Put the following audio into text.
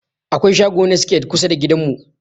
Akwai shago na siket kusa da gidan mu.